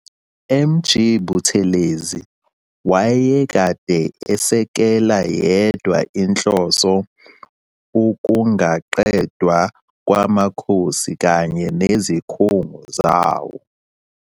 MG Buthelezi owayekade esekela yedwa inhloso ukungaqedwa kwamakhosi kanye nezikhungo zawo.